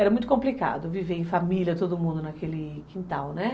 Era muito complicado viver em família, todo mundo naquele quintal, né?